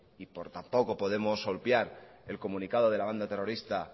y tampoco podemos obviar el comunicado de la banda terrorista